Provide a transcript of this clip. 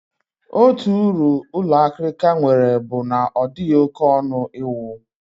Otu uru ụlọ akịrịka nwere bụ na ọ dịghị oké ọnụ iwu